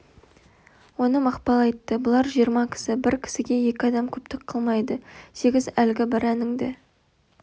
оны мақпал айтты бұлар жиырма кісі бір кісіге екі адам көптік қылмайды сегіз әлгі бір әніңді